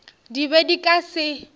di be di ka se